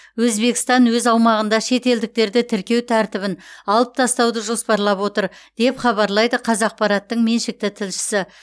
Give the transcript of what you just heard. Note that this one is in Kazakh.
өзбекстан өз аумағында шетелдіктерді тіркеу тәртібін алып тастауды жоспарлап отыр деп хабарлайды қазақпараттың меншікті тілшісі